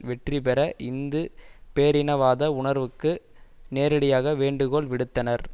வெற்றி பெற இந்து பேரினவாத உணர்வுக்கு நேரடியாக வேண்டுகோள் விடுத்தனர்